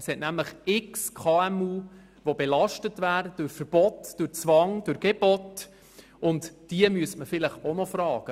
Es gibt nämlich viele KMU, die durch Verbote, Zwang und Gebote belastet werden, und diese müsste man vielleicht auch fragen.